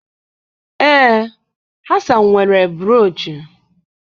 Ee, Hasan nwere bruuchu